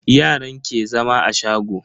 Yaran ke zama a shago.